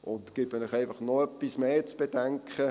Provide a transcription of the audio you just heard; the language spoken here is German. Ich gebe Ihnen einfach noch etwas Zusätzliches zu bedenken: